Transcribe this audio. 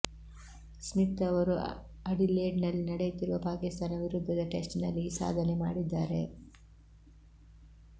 Smith ಅವರು Adelaide ನಲ್ಲಿ ನಡೆಯುತ್ತಿರುವ ಪಾಕಿಸ್ತಾನ ವಿರುದ್ಧದ ಟೆಸ್ಟ್ ನಲ್ಲಿ ಈ ಸಾಧನೆ ಮಾಡಿದ್ದಾರೆ